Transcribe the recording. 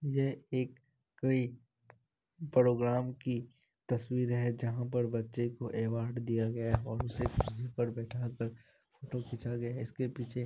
यह एक कोई प्रोग्रामे की तस्वीर है जहां पर बच्चे को एवार्ड दिया गया है और उसे कुर्सी पर बैठा कर फोटो खींचा गया हैं। उसके पीछे--